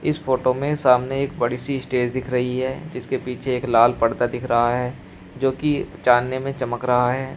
इस फोटो में सामने एक बड़ी सी स्टेज दिख रही है जिसके पीछे एक लाल पडदा दिख रहा है जोकि चाने में चमक रहा है।